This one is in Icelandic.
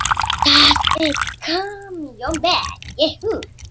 Dag einn kom Jón Ben.